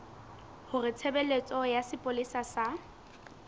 hore tshebeletso ya sepolesa sa